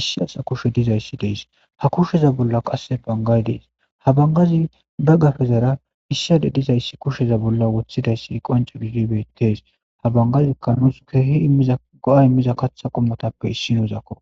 issi asa kushe dizayssi deys ha kusheza bolla qasse bangay dees ha bangazi ba gafezara issade dizayssi kusheza bolla wothidayssi qanco gidi beetteys habangazi kanos keehi immiza go7a immiza kaththa qommotappe issi yozakko